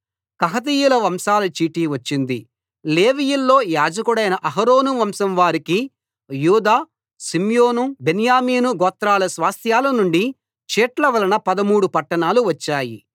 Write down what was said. కహాతీయుల వంశాల చీటి వచ్చింది లేవీయుల్లో యాజకుడైన అహరోను వంశం వారికి యూదా షిమ్యోను బెన్యామీను గోత్రాల స్వాస్థ్యాల నుండి చీట్ల వలన పదమూడు పట్టణాలు వచ్చాయి